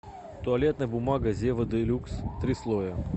туалетная бумага зева делюкс три слоя